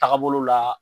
Taagabolo la